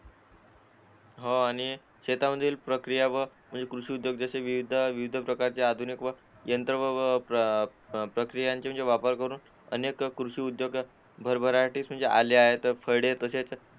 हो आणि शेतामधील प्रक्रिया व कृषी उद्योग जसे की च्या विविध पद्धती आधुनिक यंत्र व प्रक्रियेचा वापर करून अनेक कृषी उद्योग भरभराटीस आहेत